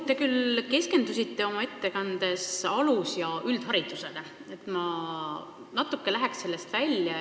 Te küll keskendusite oma ettekandes alus- ja üldharidusele, aga ma läheksin natuke sellest teemast välja.